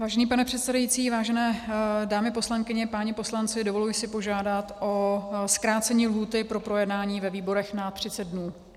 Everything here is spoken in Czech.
Vážený pane předsedající, vážené dámy poslankyně, páni poslanci, dovoluji si požádat o zkrácení lhůty pro projednání ve výborech na 30 dnů.